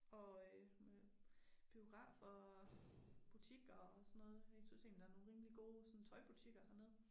Og øh med biograf og butikker og sådan noget. Jeg synes egentlig der nogle rimelig gode sådan tøjbutikker hernede